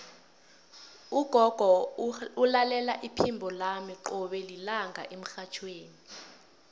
ugogo ulalela iphimbo lami qobe lilanga emrhatjhweni